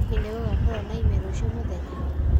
hĩhĩ nigugakorwo na ime ruciu mũthenya